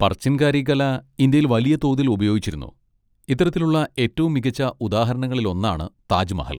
പർച്ചിൻ കാരി കല ഇന്ത്യയിൽ വലിയ തോതിൽ ഉപയോഗിച്ചിരുന്നു, ഇത്തരത്തിലുള്ള ഏറ്റവും മികച്ച ഉദാഹരണങ്ങളിലൊന്നാണ് താജ്മഹൽ.